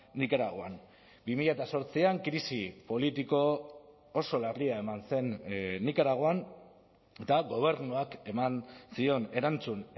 nikaraguan bi mila zortzian krisi politiko oso larria eman zen nikaraguan eta gobernuak eman zion erantzun